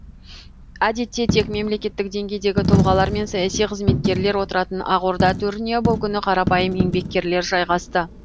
әдетте тек мемлекеттік деңгейдегі тұлғалар мен саяси қызметкерлер отыратын ақорда төріне бұл күні қарапайым еңбеккерлер жайғасты